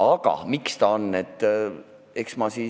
Aga miks see nii on?